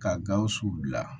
Ka gawusu bila